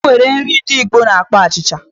O nwere nri ndi Igbo na-akpọ achịcha.